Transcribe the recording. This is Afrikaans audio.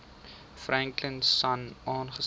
franklin sonn saamgestel